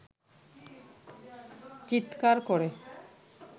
চিৎকার করে